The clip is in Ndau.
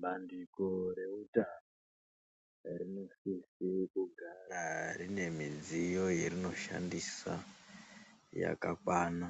Bandiko reutano rinosise kugara rine midziyo yerinoshandisa yakakwana.